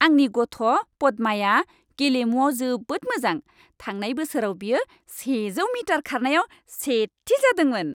आंनि गथ' पद्माया गेलेमुआव जोबोद मोजां। थांनाय बोसोराव बियो सेजौ मिटार खारनायाव सेथि जादोंमोन।